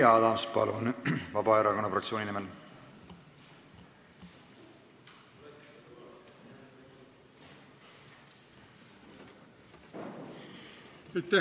Jüri Adams, palun, Vabaerakonna fraktsiooni nimel!